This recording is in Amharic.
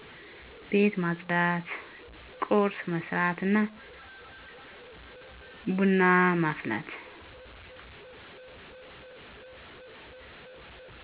ቤት ማፅዳት ቁርስ መስራትና ብና ማፍላት